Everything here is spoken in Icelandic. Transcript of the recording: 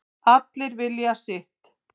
Allir vilja sitt